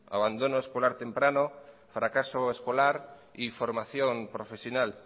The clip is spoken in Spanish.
abandono escolar temprano fracaso escolar y formación profesional